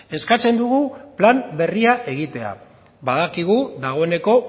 eskatzen dugu plan berria egitea badakigu dagoeneko